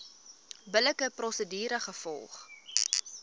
billike prosedure gevolg